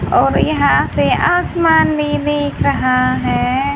और यहां से आसमान में देख रहा है।